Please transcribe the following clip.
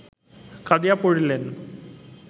কাঁদিয়া পড়িলেন